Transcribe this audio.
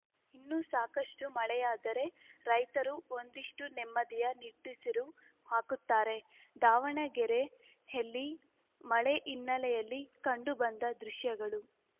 ಇನ್ನೂ ಸಾಕಷ್ಟುಮಳೆಯಾದರೆ ರೈತರು ಒಂದಿಷ್ಟುನೆಮ್ಮದಿಯ ನಿಟ್ಟಿಸಿರು ಹಾಕುತ್ತಾರೆ ದಾವಣಗೆರೆಯಲ್ಲಿ ಮಳೆ ಹಿನ್ನೆಲೆಯಲ್ಲಿ ಕಂಡು ಬಂದ ದೃಶ್ಯಗಳು